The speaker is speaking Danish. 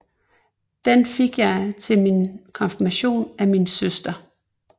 Den fik jeg til min Konfirmation af min Søster